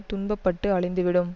துன்ப பட்டு அழிந்து விடும்